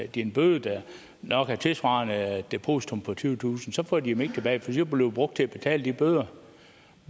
de en bøde der nok er tilsvarende depositummet på tyvetusind kroner så får de dem ikke tilbage for de brugt til at betale de bøder